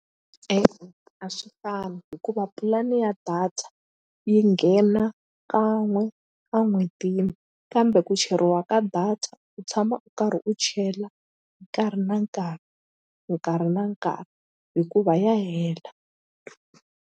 E-e a swi fani hikuva pulani ya data yi nghena kan'we a n'hwetini kambe ku cheriwa ka data u tshama u karhi u chela nkarhi na nkarhi nkarhi na nkarhi hikuva ya hela.